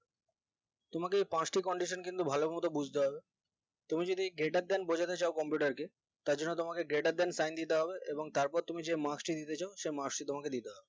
তোমাদের পাঁচটি condition কিন্তু ভালো মতন বুজতে হবে তুমি যদি greater than বোঝাতে চাও computer কে তারজন্য তোমাকে greater than sign দিতে হবে এবং তারপর তুমি যে marks টি দিতে চাও সেই marks টি তোমাকে দিতে হবে